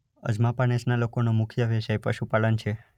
અજમાપા નેસના લોકોનો મુખ્ય વ્યવસાય પશુપાલન છે.